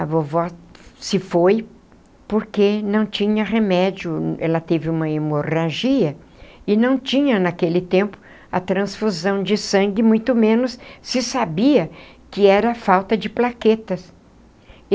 A vovó se foi porque não tinha remédio, ela teve uma hemorragia e não tinha naquele tempo a transfusão de sangue, muito menos se sabia que era falta de plaquetas.